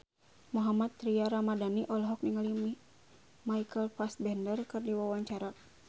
Mohammad Tria Ramadhani olohok ningali Michael Fassbender keur diwawancara